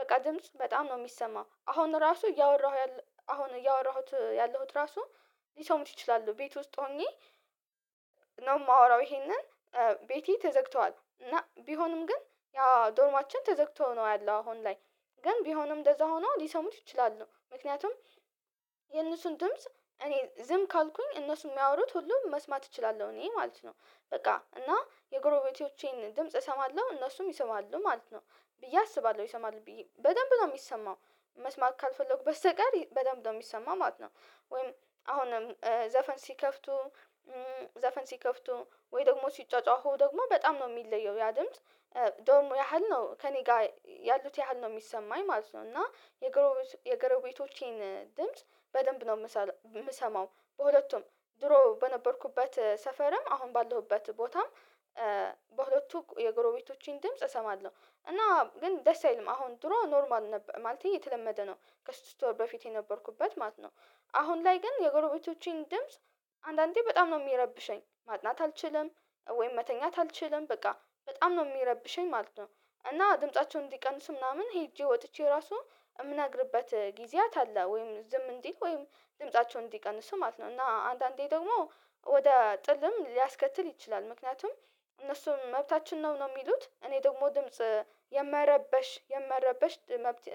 በቃ ድምጽ በጣም ነው የሚሰማው አሁን ራሱ እያወራሁ አሁን እያወራሁት ያለሁት ራሱ ሊሰሙት ይችላሉ ቤት ውስጥ ሆኜ ነው የማወራው ይሄንን ቤቴ ተዘግተዋል እና ቢሆንም ግን ያ ዶርማችን ተዘግቶ ነው ያለው አሁን ላይ ግን ቢሆንም እንደዛ ሆኖ ሊሰሙት ይችላሉ ምክንያቱም የእነሱን ድምጽ እኔ ዝም ካልኩኝ እነሱን የሚያወሩት ሁሉ መስማት እችላለሁ እኔ ማለት ነው። በቃ እና የጎረቤቶቼን ድምጽ እሰማለሁ እነሱም ይሰማሉ ማለት ነው። ብዬ አስባለሁ ይሰማሉ ብዬ በደንብ ነው የሚሰማው መስማት ካልፈለኩ በስተቀር በደንብ ነው የሚሰማው ማለት ነው። ወይም አሁንም ዘፈን ሲከፍቱ ዘፈን ሲከፍቱ ወይ ደግሞ ሲጯጯሁ ደግሞ በጣም ነው የሚለየው ያ ድምጽ ዶርሙ ያህል ነው ከእኔ ጋር ያሉት ያህል ነው የሚሰማኝ ማለት ነው። እና የጎረቤቶ የጎረቤቶቼን ድምጽ በደንብ ነው የምሰማው በሁለቱም ድሮ በነበርኩበት ሰፈርም አሁን ባለሁበት ቦታም በሁለቱ የጎረቤቶቼን ድምጽ እሰማለሁ። እና ግን ደስ አይልም አሁን ድሮ ኖርማል ነበር ማለቴ የተለመደ ነው ከስድስት ወር በፊት የነበርኩበት ማለት ነው። አሁን ላይ ግን የጎረቤቶቼን ድምጽ አንዳንዴ በጣም ነው የሚረብሸኝ ማጥናት አልችልም። ወይም መተኛት አልችልም በቃ በጣም ነው የሚረብሸኝ ማለት ነው። እና ድምፃቸውን እንዲቀንሱ ምናምን ሄጄ ወጥቼ ራሱ እምነግርበት ጊዜያት አለ ወይም ዝም እንዲል ወይም ድምፃቸውን እንዲቀንሱ ማለት ነው። እና አንዳንዴ ደግሞ ወደ ጥልም ሊያስከትል ይችላል። ምክንያቱም እነሱ መብታችን ነው ነው የሚሉት እኔ ደግሞ ድምጽ የመረበሽ የመረበሽ መብት